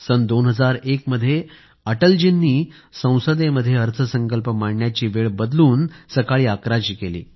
सन 2001 मध्ये अटलजींनी संसदेमध्ये अर्थसंकल्प मांडण्याची वेळ बदलून सकाळी अकराची केली